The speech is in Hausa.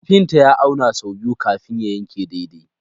Kafinta ya auna sau biyu kafin ya yanke daidai.